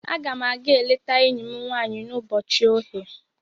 Aga m aga-eleta enyi m nwanyị n'ụbọchị oghe.